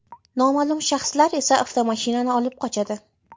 Noma’lum shaxslar esa avtomashinani olib qochadi.